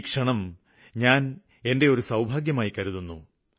ഈ ഒരു ക്ഷണം ഞാന് എന്റെ ഒരു ഭാഗ്യമായി കരുതുന്നു